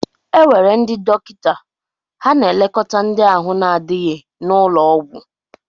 Enwere ndị dọkịta, ha na-elekóta ndị ahụ na-adịghi n'ụlọọgwú.